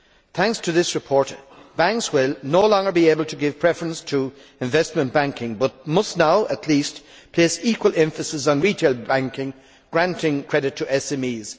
Thanks to this report, banks will no longer be able to give preference to investment banking but must now at least place equal emphasis on retail banking and granting credit to SMEs.